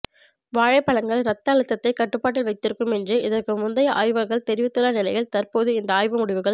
வாழைப்பழங்கள் ரத்த அழுத்தத்தை கட்டுப்பாட்டில் வைத்திருக்கும் என்று இதற்கு முந்தைய ஆய்வுகள் தெரிவித்துள்ள நிலையில் தற்போது இந்த ஆய்வு முடிவுகள்